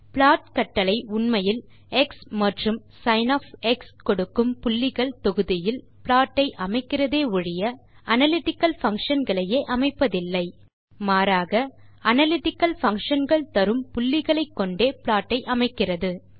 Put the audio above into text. plot கட்டளை உண்மையில் x மற்றும் சின் கொடுக்கும் புள்ளிகள் தொகுதியில் ப்லாட்டை அமைக்கிறதே ஒழிய அனலிட்டிக்கல் பங்ஷன் களையே அமைப்பதில்லை மாறாக அனலிட்டிக்கல் பங்ஷன் கள் தரும் புள்ளிகளை கொண்டே ப்லாட் ஐ அமைக்கிறது